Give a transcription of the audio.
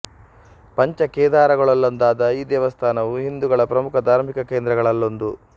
ಪಂಚ ಕೇದಾರಗಳಲ್ಲೊಂದಾದ ಈ ದೇವಸ್ಥಾನವು ಹಿಂದೂಗಳ ಪ್ರಮುಖ ಧಾರ್ಮಿಕ ಕೇಂದ್ರಗಳಲ್ಲೊಂದು